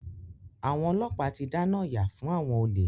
Àwọn ọlọ́pàá ti dáná yá fún àwọn olè.